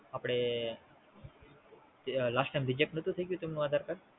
આપડે, Last time reject નોતું થાય ગયું તેમનું આધારકાર્ડ.